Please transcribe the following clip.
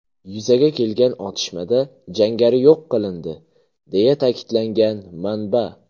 Yuzaga kelgan otishmada jangari yo‘q qilindi”, deya ta’kidlagan manba.